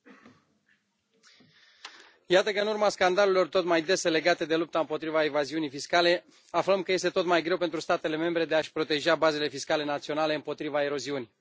Domnule președinte, iată că, în urma scandalurilor tot mai dese legate de lupta împotriva evaziunii fiscale, aflăm că este tot mai greu pentru statele membre de a și proteja bazele fiscale naționale împotriva eroziunii.